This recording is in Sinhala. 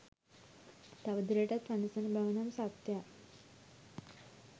තව දුරටත් වනසන බවනම් සත්‍යයක්